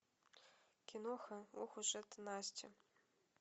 киноха ох уж эта настя